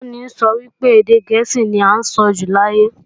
Olùkọ́ni sọ wípé, èdè gẹ̀ẹ́sì ní à ń sọjù láyé